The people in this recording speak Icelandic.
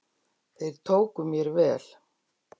Þeir tóku mér vel.